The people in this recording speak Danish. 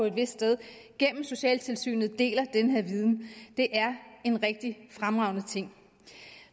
et sted gennem socialtilsynet deler den her viden det er en rigtig fremragende ting